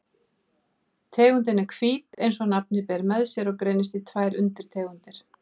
Tegundin er hvít eins og nafnið ber með sér og greinist í tvær undirtegundir.